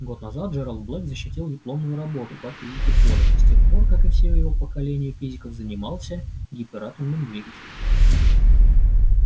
год назад джералд блэк защитил дипломную работу по физике поля и с тех пор как и все его поколение физиков занимался гиператомным двигателем